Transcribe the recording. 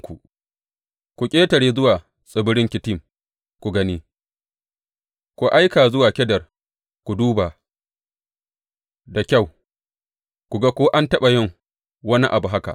Ku ƙetare zuwa tsibiran Kittim ku gani, ku aika zuwa Kedar ku duba da kyau; ku ga ko an taɓa yin wani abu haka.